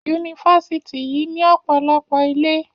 Yunifásitì yìí ní ọ̀pọ̀lọpọ̀ ilé.